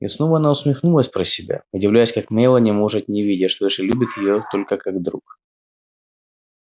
и снова она усмехнулась про себя удивляясь как мелани может не видеть что эшли любит её только как друг